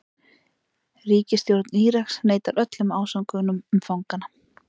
Ríkisstjórn Íraks neitar öllum ásökunum fanganna